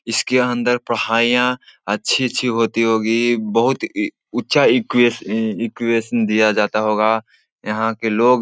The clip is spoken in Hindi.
इसके अंदर पढ़ाईयाँ अच्छी-अच्छी होती होगी। बहुत ई ऊँचा इक्वेश ईक़्वेशन दिया जाता होगा। यहाँ के लोग --